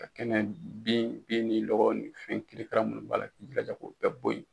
kɛnɛ bin ni lɔkɔ ni fɛn kirikara munnu b'a k'i bilaja k'u bɛɛ bo yen